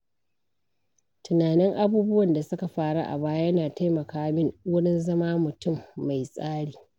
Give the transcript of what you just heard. Tunanin abubuwan da suka faru a baya yana taimaka min wurin zama mutum mai tsari.